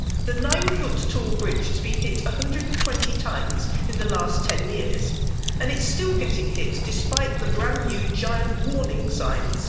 The 9 foot tall bridge has been hit 120 times in the last 10 years, and it's still getting hit despite the brand new giant warning signs.